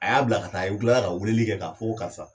A y'a bila ka taa a y u tilala ka weeleli kɛ ka fɔ ko karisa